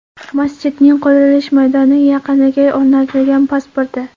Masjidning qurilish maydoni yaqiniga o‘rnatilgan pasporti.